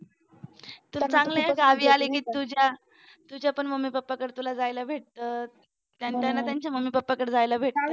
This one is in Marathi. चांगला आहे ना तू गावी आले की तुझ्या तुझ्या पण मम्मी पप्पा कडे तुला जायला भेटत त्यांना त्यांच्या मम्मी पप्पाकड जायला भेटत.